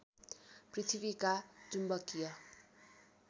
पृथ्वीका चुम्बकीय